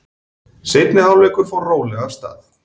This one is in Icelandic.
Seinni hálfleikur fór rólega af stað.